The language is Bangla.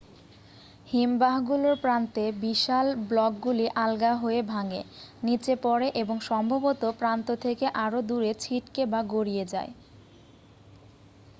হিমবাহগুলোর প্রান্তে বিশাল ব্লকগুলি আলগা হয়ে ভাঙে নীচে পড়ে এবং সম্ভবত প্রান্ত থেকে আরও দূরে ছিটকে বা গড়িয়ে যায়